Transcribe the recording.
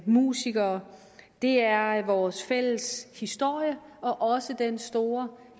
musikere det er vores fælles historie og også den store